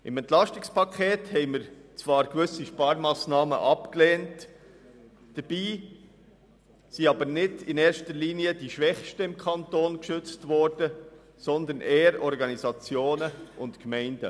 Im EP haben wir zwar gewisse Sparmassnahmen abgelehnt, wobei aber nicht in erster Linie die Schwächsten im Kanton Bern geschützt wurden, sondern eher Organisationen und Gemeinden.